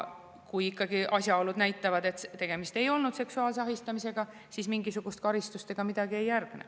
Kui ikkagi asjaolud näitavad, et tegemist ei olnud seksuaalse ahistamisega, siis mingisugust karistust ega midagi ei järgne.